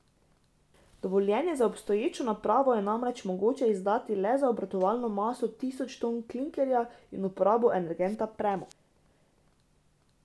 Dovoljenje za obstoječo napravo je namreč mogoče izdati le za obratovalno maso tisoč ton klinkerja in uporabo energenta premog.